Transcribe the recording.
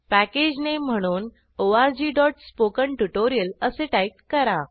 package name म्हणून orgस्पोकेंट्युटोरियल असे टाईप करा